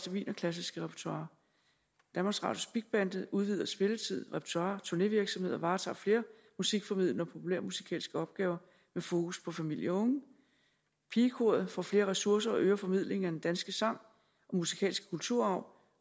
wienerklassiske repertoire danmarks radios big band udvider spilletid repertoire og turnévirksomhed og varetager flere musikformidlende og populærmusikalske opgaver med fokus på familie og unge pigekoret får flere ressourcer og øger formidlingen af den danske sang og musikalske kulturarv